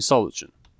Misal üçün.